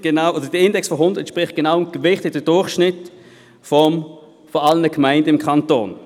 Ein Index von 100 entspricht dem gewichteten Durchschnitt aller Gemeinden im Kanton.